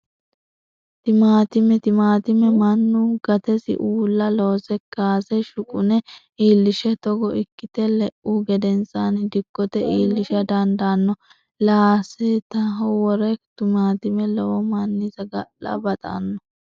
Timaatime, timatime manu gatesi uulla loose kaase shuqune iillishe togo iikite le'uhu gedensanni dikkote iilliisha dandanno laasetaho wore tumatime lowo manni saga'la baxxanno